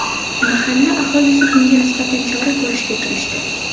Mahalla aholisi bunga nisbatan chora ko‘rishga kirishdi.